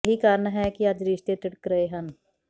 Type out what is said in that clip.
ਇਹੀ ਕਾਰਨ ਹੈ ਕਿ ਅੱਜ ਰਿਸ਼ਤੇ ਤਿੜਕ ਰਹੇ ਹਨ